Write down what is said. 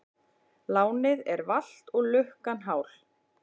Lánið er valt og lukkan hál.